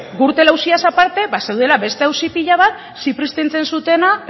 gürtel auziaz aparte bazeudela beste auzi pila bat zipriztintzen zutela